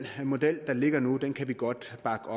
model der ligger nu kan kan vi godt bakke